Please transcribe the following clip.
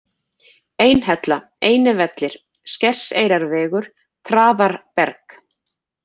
Einhella, Einivellir, Skerseyrarvegur, Traðarberg